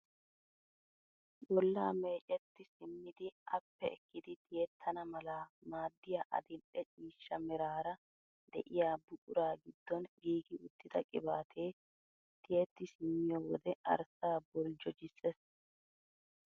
Bollaa mecetti simmidi appe ekkidi tiyettana mala maaddiyaa adil'e ciishsha meraara de'iyaa buquraa giddon giigi uttida qibatee tiyetti simmiyo wode arssaa boljjojisses!